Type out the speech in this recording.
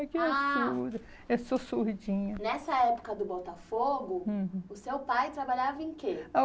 eu sou surdinha. Nessa época do Botafogo, uhum, o seu pai trabalhava em quê?